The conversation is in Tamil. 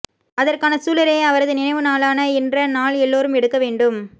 அதற்கான சூளுரையை அவரது நினைவு நாளான இன்ற நால் எல்லோரும் எடுக்க வேண்டும்